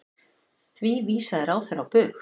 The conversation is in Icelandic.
Því vísaði ráðherra á bug.